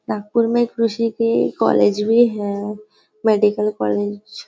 नागपुर में कृषि की कॉलेज भी है मेडिकल कॉलेज --